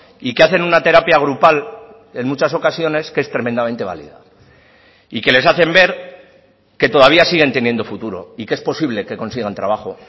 y que hacen una terapia grupal en muchas ocasiones que es tremendamente válida y que les hacen ver que todavía siguen teniendo futuro y que es posible que consigan trabajo